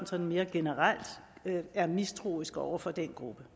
sådan mere generelt er mistroiske over for en gruppe